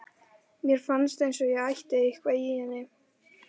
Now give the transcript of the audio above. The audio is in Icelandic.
Mér fannst eins og ég ætti eitthvað í henni.